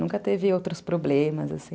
Nunca teve outros problemas, assim.